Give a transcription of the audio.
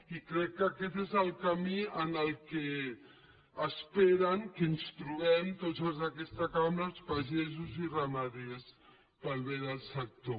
i crec que aquest és el camí en què esperen que ens trobem tots els d’aquesta cambra els pagesos i ramaders per al bé de sector